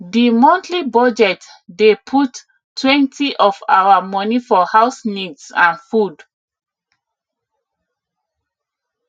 di monthly budget dey puttwentyof our money for house needs and food